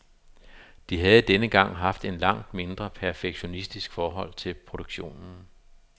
De havde denne gang haft et langt mindre perfektionistisk forhold til produktionen.